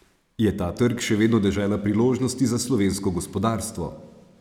Je ta trg še vedno dežela priložnosti za slovensko gospodarstvo?